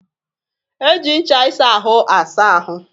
E ji ncha ịsa ahụ asáá ahụ